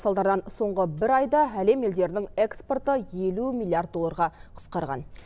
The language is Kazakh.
салдарынан соңғы бір айда әлем елдерінің экспорты елу миллиард долларға қысқарған